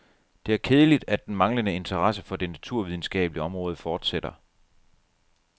Det er kedeligt, at den manglende interesse for det naturvidenskabelige område fortsætter.